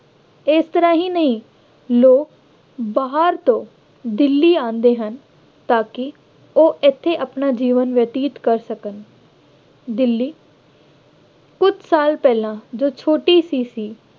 ਇਸ ਤਰ੍ਹਾਂ ਹੀ ਨਹੀਂ ਲੋਕ ਬਾਹਰ ਤੋਂ ਦਿੱਲੀ ਆਉਂਦੇ ਹਨ ਤਾਂ ਕਿ ਉਹ ਇੱਥੇ ਆਪਣਾ ਜੀਵਨ ਬਤੀਤ ਕਰ ਸਕਣ ਦਿੱਲੀ ਕੁੱਝ ਸਾਲ ਪਹਿਲਾ ਜੋ ਛੋਟੀ ਜਿਹੀ ਸੀ,